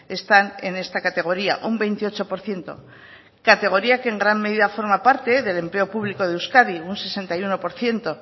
están en esta categoría un veintiocho por ciento categoría que en gran medida forma parte del empleo público de euskadi en un sesenta y uno por ciento